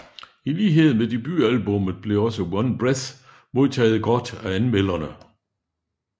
I lighed med debutalbummet blev også One Breath modtaget godt af anmelderne